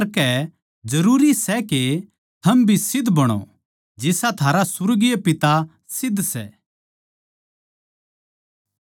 इस करकै चाहिए के थम सिध्द बणो जिसा थारा सुर्गीय पिता सिध्द सै